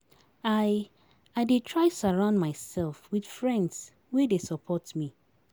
I I dey try surround mysef wit friends wey dey support me.